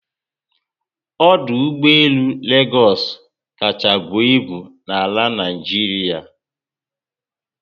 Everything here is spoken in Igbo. Ọdụ ụgbọelu Legosu kachárá buo ịbu na Naijiria